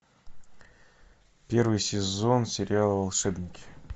первый сезон сериала волшебники